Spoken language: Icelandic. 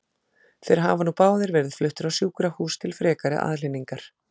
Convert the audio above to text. Þeir hafa nú báðir verið fluttir á sjúkrahús til frekari aðhlynningar.